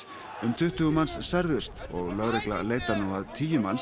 um tuttugu manns særðust og lögregla leitar nú að tíu manns